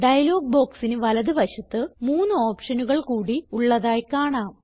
dialogue ബോക്സിന് വലത് വശത്ത് മൂന്ന് ഓപ്ഷനുകൾ കൂടി ഉള്ളതായി കാണാം